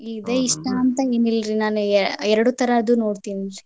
ಇದೆ ಇಷ್ಟ ಅಂತೇನಿಲ್ರಿ ನಾನು ಎರಡು ತರದ್ದು ನೋಡ್ತೇನ್ರಿ.